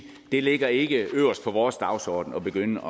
det ligger ikke øverst på vores dagsorden at begynde